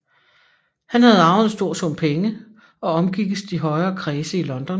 Han havde arvet en stor sum penge og omgikkes de højere kredse i London